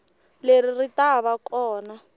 leri ri ta va kona